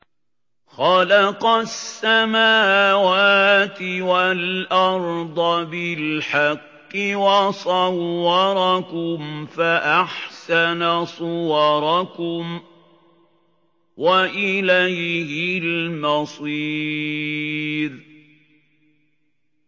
خَلَقَ السَّمَاوَاتِ وَالْأَرْضَ بِالْحَقِّ وَصَوَّرَكُمْ فَأَحْسَنَ صُوَرَكُمْ ۖ وَإِلَيْهِ الْمَصِيرُ